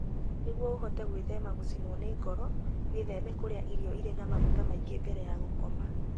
Nĩguo ũhote gwĩthema gũcinwo nĩ ngoro, gwĩthema kũrĩa irio irĩ na maguta maingĩ mbere ya gũkoma.